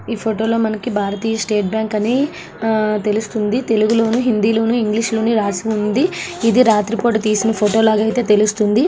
ఈ ఫొటో లో మనకి భారతీయ స్టేట్ బ్యాంకు అని ఆహ్ తెలుస్తుంది . తెలుగు లోను హిందీ లోను ఇంగ్లీష్ లోను రాసి ఉంది. ఇది రాత్రి పూట తీసిన ఫోటో లాగా అయితే తెలుస్తుంది.